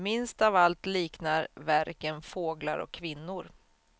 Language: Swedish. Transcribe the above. Minst av allt liknar verken fåglar och kvinnor.